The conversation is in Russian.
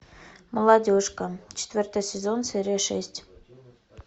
молодежка четвертый сезон серия шесть